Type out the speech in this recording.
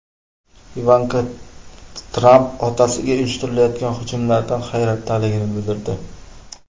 Ivanka Tramp otasiga uyushtirilayotgan hujumlardan hayratdaligini bildirdi.